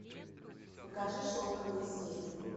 покажи шелковые сети